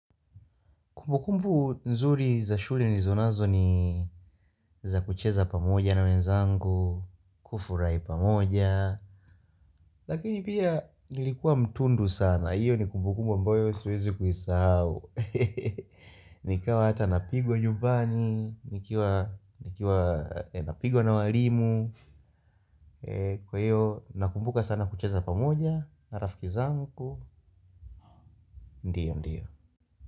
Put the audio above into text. Kumbukumbu nzuri za shule nilizo nazo ni za kucheza pamoja na wenzangu, kufurahi pamoja, lakini pia nilikuwa mtundu sana, hiyo ni kumbukumbu ambayo siwezi kuisahau. Nikawa hata napigwa nyumbani, nikiwa napigwa na walimu, kwa hiyo nakumbuka sana kucheza pamoja, na rafiki zangu, ndio ndio.